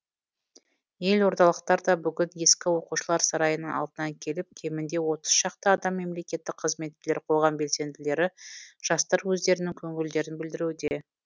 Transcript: елордалықтар да бүгін ескі оқушылар сарайының алдына келіп кемінде отыз шақты адам мемлекеттік қызметкерлер қоғам белсенділері жастар өздерінің көңілдерін білдіруде